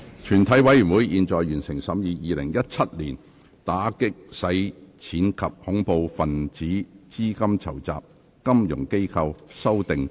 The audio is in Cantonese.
全體委員會已完成審議《2017年打擊洗錢及恐怖分子資金籌集條例草案》的所有程序。